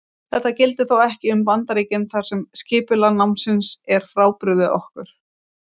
Þetta gildir þó ekki um Bandaríkin þar sem skipulag námsins er frábrugðið okkar.